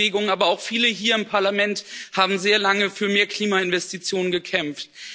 Die Klimabewegung, aber auch viele hier im Parlament haben sehr lange für mehr Klimainvestitionen gekämpft.